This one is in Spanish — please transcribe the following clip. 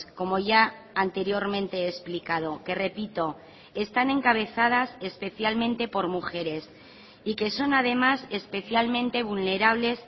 como ya anteriormente he explicado que repito están encabezadas especialmente por mujeres y que son además especialmente vulnerables